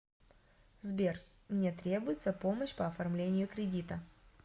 сбер мне требуется помощь по оформлению кредита